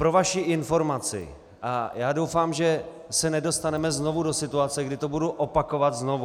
Pro vaši informaci - já doufám, že se nedostaneme znovu do situace, kdy to budu opakovat znovu.